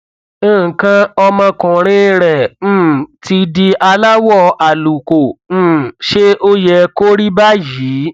nǹkan ọmọkuùnrin rẹ um ti di aláwọ àlùkò um ṣé ó yẹ kó rí báyìí